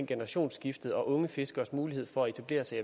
generationsskifte og unge fiskeres mulighed for at etablere sig